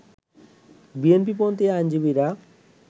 বিএনপিপন্থি আইনজীবীরা